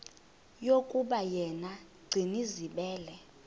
yokuba yena gcinizibele